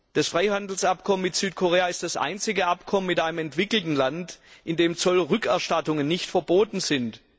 Das Freihandelsabkommen mit Südkorea ist das einzige Abkommen mit einem entwickelten Land, in dem Zollrückerstattungen nicht verboten sind.